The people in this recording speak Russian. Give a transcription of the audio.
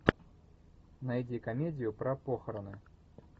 найди комедию про похороны